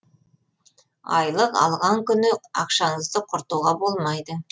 айлық алған күні ақшаңызды құртуға болмайды